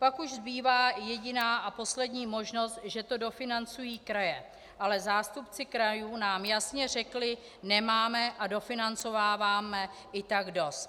Pak už zbývá jediná a poslední možnost, že to dofinancují kraje, ale zástupci krajů nám jasně řekli: Nemáme a dofinancováváme i tak dost.